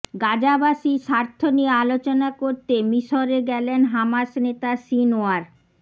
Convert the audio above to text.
গাজাবাসীর স্বার্থ নিয়ে আলোচনা করতে মিসরে গেলেন হামাস নেতা সিনওয়ার